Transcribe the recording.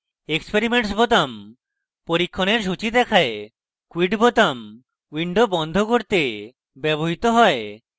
experiments বোতাম পরীক্ষণের সূচী দেখায় quit বোতাম window বন্ধ করতে ব্যবহৃত হয়